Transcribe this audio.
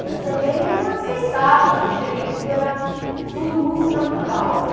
Mas também ela aceitava, fingia que aquilo era tudo muito natural, né?